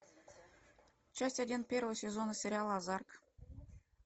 часть один первого сезона сериала озарк